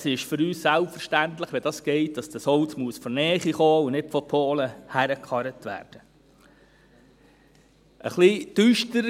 Es ist für uns selbstverständlich, dass dieses Holz, wenn es geht, aus der Nähe kommen und nicht aus Polen hergekarrt werden muss.